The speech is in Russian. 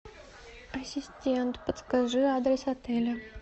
ассистент подскажи адрес отеля